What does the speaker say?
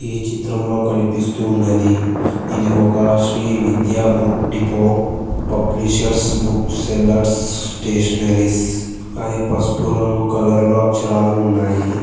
ఈ చిత్రంలో కనిపిస్తూ ఉన్నది ఇది ఒక శ్రీవిద్య బుక్ డిపోట్ పబ్లిషర్స్పు బుక్ సెల్లర్స్ స్టేషనరీస్ అది పసుపు రంగు కలర్లో అక్షరాలు ఉన్నాయి.